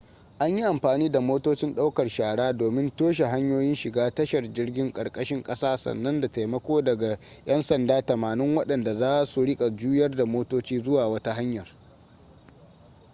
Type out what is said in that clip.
an yi amfani da motocin ɗaukar shara domin toshe hanyoyin shiga tashar jirgin ƙarƙashin ƙasa sannan da taimako daga 'yansada 80 waɗanda za su riƙa juyar da motoci zuwa wata hanyar